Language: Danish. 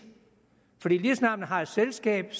snart man har et selskab